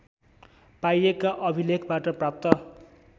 पाइएका अभिलेखबाट प्राप्त